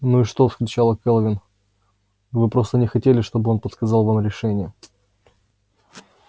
ну и что вскричала кэлвин вы просто не хотели чтобы он подсказал вам решение